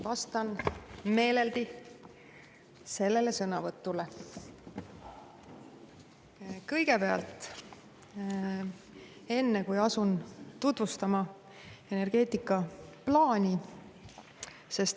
Vastan meeleldi kõigepealt sellele sõnavõtule, enne kui asun tutvustama energeetikaplaani.